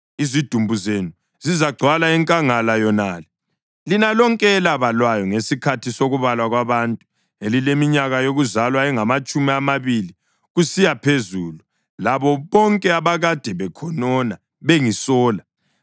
Izidumbu zenu zizagcwala enkangala yonale, lina lonke elabalwayo ngesikhathi sokubalwa kwabantu elileminyaka yokuzalwa engamatshumi amabili kusiya phezulu labo bonke abakade bekhonona bengisola.